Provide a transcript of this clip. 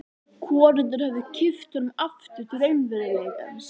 Konurnar höfðu kippt honum aftur til raunveruleikans.